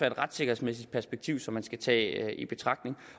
et retssikkerhedsmæssigt perspektiv som man skal tage i betragtning